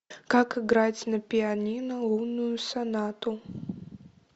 как играть на пианино лунную сонату